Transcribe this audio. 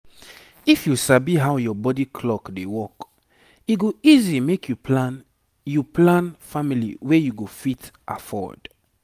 if you sabi how your body clock dey work e go easy make you plan you plan family wey you go fit afford